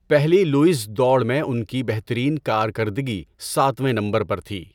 پہلی لوؤز دوڑ میں ان کی بہترین کارکردگی ساتویں نمبر پر تھی۔